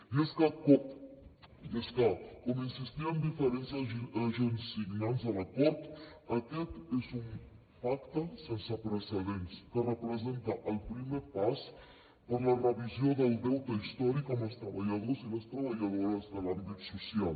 i és que com insistien diferents agents signants de l’acord aquest és un pacte sense precedents que representa el primer pas per a la revisió del deute històric amb els treballadors i les treballadores de l’àmbit social